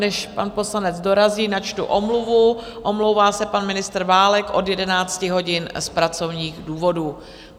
Než pan poslanec dorazí, načtu omluvu: omlouvá se pan ministr Válek od 11 hodin z pracovních důvodů.